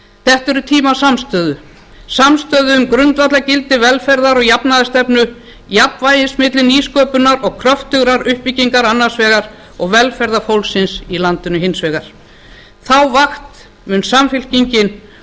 þetta eru tímar samstöðu samstöðu um grundvallargildi velferðar og jafnaðarstefnu jafnvægis milli nýsköpunar og kröftugrar uppbyggingar annars vegar og velferðar fólksins í landinu hins vegar þá vakt mun samfylkingin